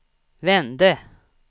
vände